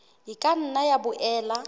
e ka nna ya boela